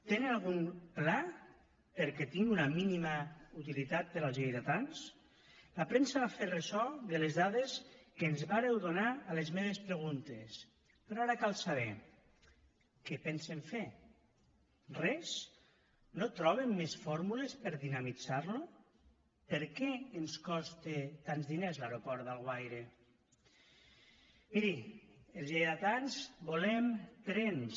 tenen algun pla perquè tingui una mínima utilitat per als lleidatans la premsa va fer ressò de les dades que ens vàreu donar a les meves preguntes però ara cal saber què pensen fer res no troben més fórmules per dinamitzar lo per què ens coste tants diners l’aeroport d’alguaire miri els lleidatans volem trens